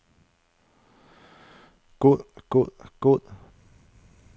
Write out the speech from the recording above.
god god god